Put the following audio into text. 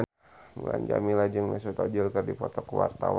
Mulan Jameela jeung Mesut Ozil keur dipoto ku wartawan